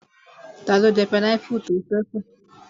Taló jẹ pineapple tó ṣẹ́ kù?